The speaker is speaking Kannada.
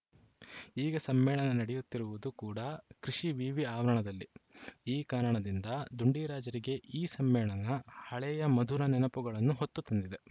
ಈಗ ಸಮ್ಮೇಳನ ನಡೆಯುತ್ತಿರುವುದು ಕೂಡ ಕೃಷಿ ವಿವಿ ಆವರಣದಲ್ಲಿ ಈ ಕಾರಣದಿಂದ ಡುಂಡಿರಾಜರಿಗೆ ಈ ಸಮ್ಮೇಳನ ಹಳೆಯ ಮಧುರ ನೆನಪುಗಳನ್ನು ಹೊತ್ತು ತಂದಿದೆ